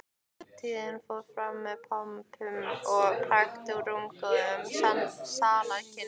Árshátíðin fór fram með pomp og prakt í rúmgóðum salarkynnum